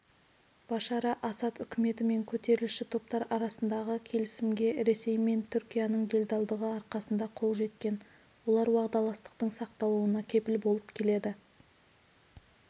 башара асад үкіметі мен көтерілісші топтар арасындағы келісімге ресей мен түркияның делдалдығы арқасында қол жеткен олар уағдаластықтың сақталуына кепіл болып келеді